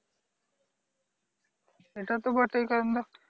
এটা তো বটেই কারণ দেখ